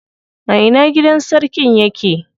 A ina gidan sarkin yake?